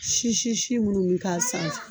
Si si si minnu bɛ k'a sanfɛ